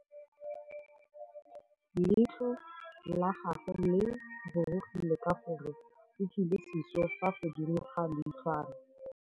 Leitlhô la gagwe le rurugile ka gore o tswile sisô fa godimo ga leitlhwana.